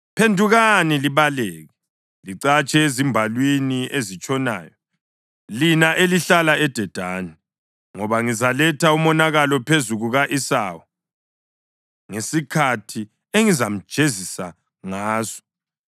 Phendukani libaleke, licatshe ezimbalwini ezitshonayo, lina elihlala eDedani, ngoba ngizaletha umonakalo phezu kuka-Esawu ngesikhathi engizamjezisa ngaso.